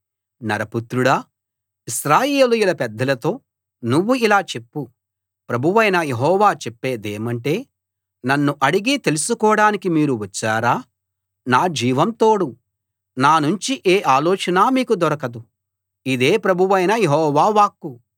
నరపుత్రుడా ఇశ్రాయేలీయుల పెద్దలతో నువ్వు ఇలా చెప్పు ప్రభువైన యెహోవా చెప్పేదేమంటే నన్ను అడిగి తెలుసుకోడానికి మీరు వచ్చారా నా జీవం తోడు నానుంచి ఏ ఆలోచనా మీకు దొరకదు ఇదే ప్రభువైన యెహోవా వాక్కు